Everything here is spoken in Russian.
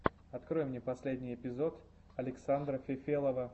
открой мне последний эпизод александра фефелова